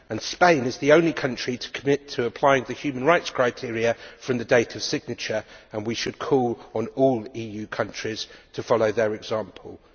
Spain is the only country to commit to applying the human rights criteria from the date of signature and we should call on all EU countries to follow their example.